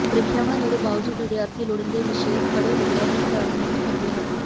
ਪ੍ਰੀਖਿਆਵਾਂ ਨੇੜੇ ਬਾਵਜੂਦ ਵਿਦਿਆਰਥੀ ਲੋੜੀਂਦੇ ਵਿਸ਼ੇ ਪੜੇ ਬਗੈਰ ਹੀ ਘਰ ਮੁੜ ਆਉਂਦੇ ਹਨ